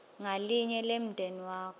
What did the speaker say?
ngalinye lemndeni wakho